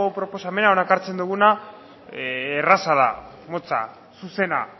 proposamena hona ekartzen duguna erraza da motza zuzena